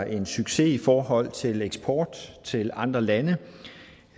en succes i forhold til eksport til andre lande